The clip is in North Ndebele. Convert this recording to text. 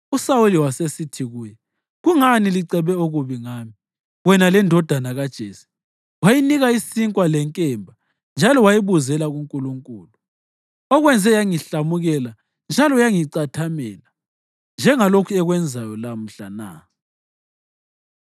USawuli wasesithi kuye, “Kungani licebe okubi ngami, wena lendodana kaJese, wayinika isinkwa lenkemba njalo wayibuzela kuNkulunkulu, okwenze yangihlamukela njalo yangicathamela, njengalokhu ekwenzayo lamhla na?”